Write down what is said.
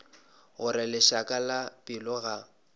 gore lešaka la pelo ga